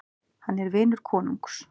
Hann er vinur konungs.